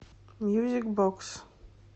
мьюзик бокс